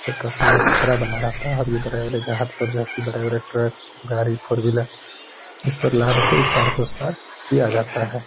ये काफी ज्यादा खतरा बना रहता है। ये बड़े-बड़े जहाज बड़े-बड़े ट्रक गाड़ी फोर व्हीलर जिस पे लाद के इस पार से उस पार किया जाता है।